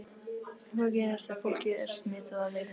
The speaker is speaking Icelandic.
En hvað gerist ef fólkið er smitað af veirunni?